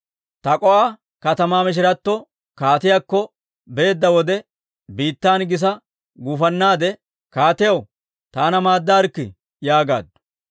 Tak'o"a katamaa mishiratta kaatiyaakko beedda wode, biittan gisa guufannaade, «Kaatiyaw, taana maaddaarikkii!» yaagaaddu.